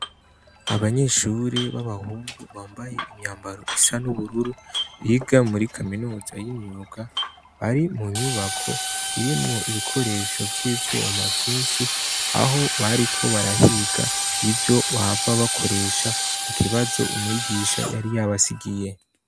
Abanyeshure b'abahungu bambaye imyambaro isa n'ubururu biga muri kaminuza y'imyuga bari mu nyubako irimwo ibikoresho vy'ivyuma vyinshi aho bariko barahiga ivyo bahava bakoresha mu kibazo umwigisha yari yabasigiye.